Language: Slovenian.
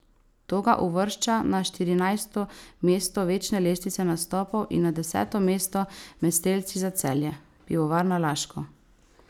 To ga uvršča na štirinajsto mesto večne lestvice nastopov in na deseto mesto med strelci za Celje Pivovarno Laško.